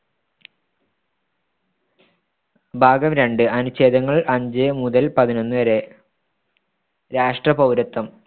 ഭാഗം രണ്ട് അനുഛേദങ്ങൾ അഞ്ച് മുതൽ പതിനൊന്നുവരെ രാഷ്‌ട്ര പൗരത്വം